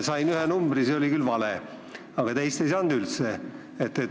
Sain ühe numbri – see oli küll vale –, teist ei saanud üldse.